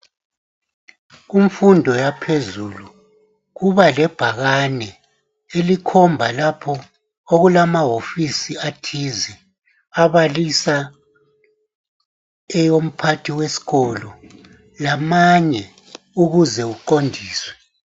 Kumfundo yaphezulu kuba lebhakane elikhomba lapho okulamahofisi athize abalisa eyomphathi wesikolo lamanye ukuze uqondiswe.